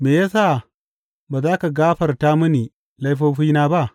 Me ya sa ba za ka gafarta mini laifofina ba?